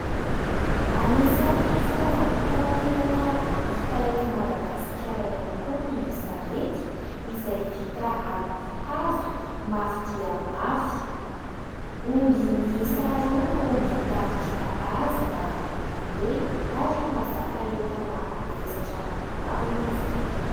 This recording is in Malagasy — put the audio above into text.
Anisan'ny fitaovam-pitaterana hita eto Madagasikara ihany koa ny sarety izay vita amin'ny hazo mafy dia mafy. Omby miisa roa no mitarika azy mba andeha ary mahazaka entana mavesatra maromaro izy.